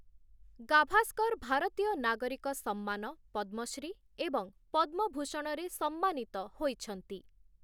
ଗାଭାସ୍କର ଭାରତୀୟ ନାଗରିକ ସମ୍ମାନ 'ପଦ୍ମଶ୍ରୀ' ଏବଂ 'ପଦ୍ମଭୂଷଣ'ରେ ସମ୍ମାନିତ ହୋଇଛନ୍ତି ।